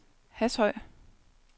Hashøj